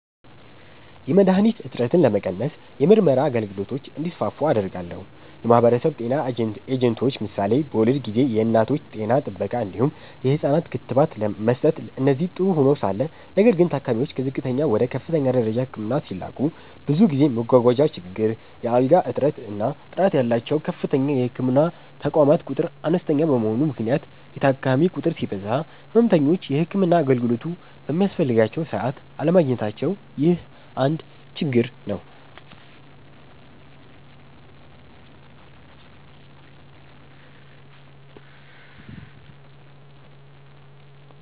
.የመድሀኒት እጥረትን ለመቀነስ የምርመራ አገልግሎቶች እንዲስፋፉ አደርጋለሁ። .የማህበረሰብ ጤና ኤጀንቶች ምሳሌ በወሊድ ጊዜ የእናቶች ጤና ጥበቃ እንዲሁም የህፃናት ክትባት መስጠት እነዚህ ጥሩ ሆነዉ ሳለ ነገር ግን ታካሚዎች ከዝቅተኛ ወደ ከፍተኛ ደረጃ ህክምና ሲላኩ ብዙ ጊዜ መጓጓዣ ችግር፣ የአልጋ እጥረት እና ጥራት ያላቸዉ ከፍተኛ የህክምና ተቋማት ቁጥር አነስተኛ በመሆኑ ምክንያት የታካሚ ቁጥር ሲበዛ ህመምተኞች የህክምና አገልግሎቱ በሚያስፈልጋቸዉ ሰዓት አለማግኘታቸዉ ይህ አንድ ችግር ነዉ።